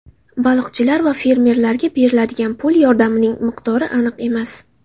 Baliqchilar va fermerlarga beriladigan pul yordamining miqdori aniq emas.